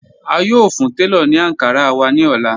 A yóò fún tẹlọ̀ ní Ankara wà ní ọ̀lá.